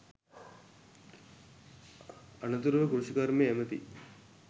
අනතුරුව කෘෂිකර්ම ඇමති